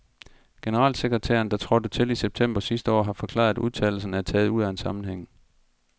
Generalsekretæren, der trådte til i september sidste år, har forklaret, at udtalelserne er taget ud af en sammenhæng.